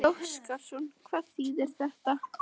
Gísli Óskarsson: Hvað þýðir þetta?